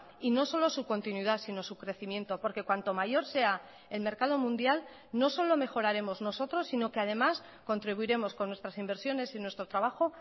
y no solo su continuidad sino su crecimiento porque cuanto mayor sea el mercado mundial no solo mejoraremos nosotros sino que además contribuiremos con nuestras inversiones y nuestro trabajo